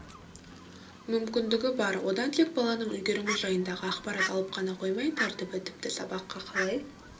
мүмкіндігі бар одан тек баланың үлгерімі жайындағы ақпарат алып қана қоймай тәртібі тіпті сабаққа қалай